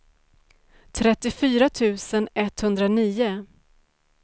trettiofyra tusen etthundranio